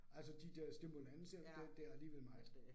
Altså de der stimulanser der der alligevel meget